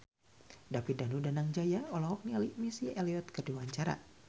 David Danu Danangjaya olohok ningali Missy Elliott keur diwawancara